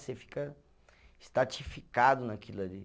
Você fica estatificado naquilo ali.